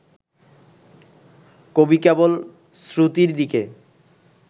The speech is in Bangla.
কবি কেবল শ্রুতির দিকে